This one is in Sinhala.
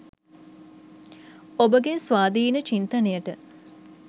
ඔබගේ ස්වාධීන චින්තනයට